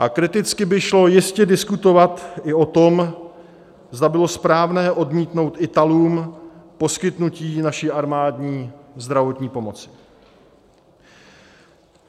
A kriticky by šlo jistě diskutovat i o tom, zda bylo správné odmítnout Italům poskytnutí naší armádní zdravotní pomoci.